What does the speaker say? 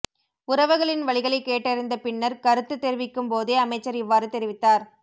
உறவுகளின் வலிகளை கேட்டறிந்த பின்னர் கருத்து தெரிவிக்கும் போதே அமைச்சர் இவ்வாறு தெரிவித்தார்